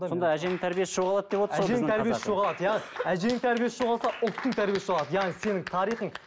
сонда әженің тәрбиесі жоғалады деп отырсыз ғой әженің тәрбиесі жоғалады иә әженің тәрбиесі жоғалса ұлттың тәрбиесі жоғалады яғни сенің тарихың